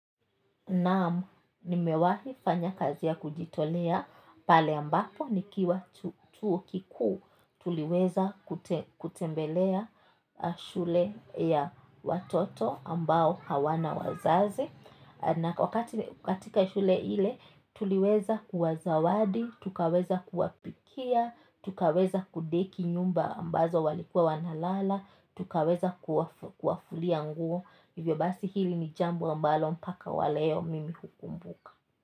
Naam nimewahi fanya kazi ya kujitolea pale ambapo ni kiwa chuo kikuu tuliweza kutembelea shule ya watoto ambao hawana wazazi. Na wakati katika shule ile tuliweza kuwazawadi tuka weza kuwa pikiatl tukaweza kudeki nyumba ambazo walikuwa wanalala tukaweza kuwafulia nguo hivyo basi hili ni jambo ambalo mpaka wa leo mimi hukumbuka.